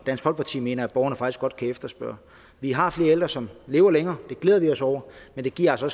dansk folkeparti mener borgerne faktisk godt kan efterspørge vi har flere ældre som lever længere det glæder vi os over men det giver altså